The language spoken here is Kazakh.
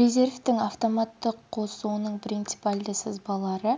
резервтің автоматты қосуының принципиальді сызбалары